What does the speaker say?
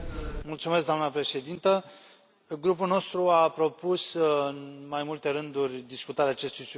Doamnă președintă, grupul nostru a propus în mai multe rânduri discutarea acestui subiect.